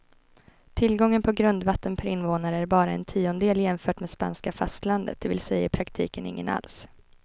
Tillgången på grundvatten per invånare är bara en tiondel jämfört med spanska fastlandet, det vill säga i praktiken ingen alls.